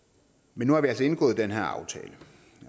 men nu har vi altså indgået den her aftale